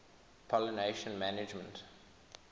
pollination management